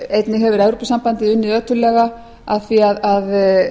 einnig hefur evrópusambandið unnið ötullega að því að